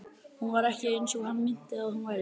Hún var ekki eins og hann minnti að hún væri.